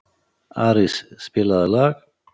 Arís, spilaðu lag.